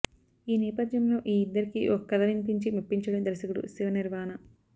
ఈ నేపథ్యంలో ఈ ఇద్దరికీ ఒక కథ వినిపించి మెప్పించాడు దర్శకుడు శివ నిర్వాణ